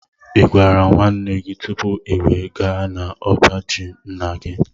i gwara nwanne gị tụpụ i wee gaa na ọbá jị ńnà gị?